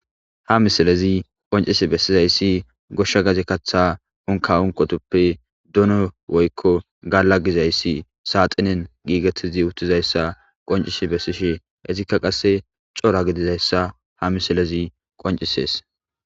Hamisilezi qoncisi bessizayssi goshsha gaze kaththa unka unqotuppe duno woykko gala gizayssi saaxinen giigettizi uttizayssa qoncishi bessishi ezikka qasse cora gidizayssa hamisilezi qoncisees.